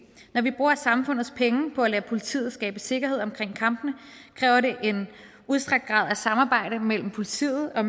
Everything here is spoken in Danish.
når vi bruger samfundets penge på at lade politiet skabe sikkerhed omkring kampene kræver det en udstrakt grad af samarbejde mellem politiet og